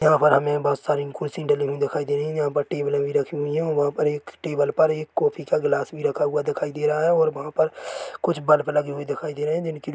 यहाँ पर हमें बोहत सारी कुर्सी डली हुई दिखाई दे रही जहाँ पर टेबले भी रखी हुई है वहाँ पर एक टेबल पर एक कोफ़ी का ग्लास भी रखा हुआ दिखाई दे रहा है और वहाँ पर कुछ बल्ब लगे हुए दिखाई दे रहे है जिनकी ला--